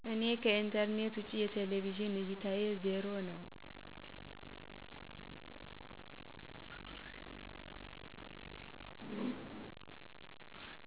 እኔ ከኢንተርኔት ውጭ የቴሌቪዥን እይታየ 0 ነው